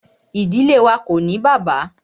Ìdílé wá ko ní bàbá.